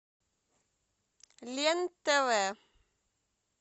лен тв